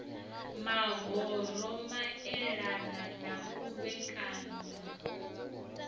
mahoro maelana na u vhekanywa